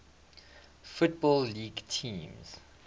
football league teams